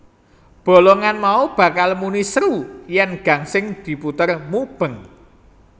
Bolongan mau bakal muni seru yèn gangsing diputer mubeng